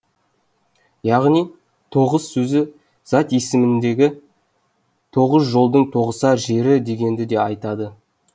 яғни тоғыс сөзі зат есімденгенде тоғыз жолдың тоғысар жері дегенді де айтады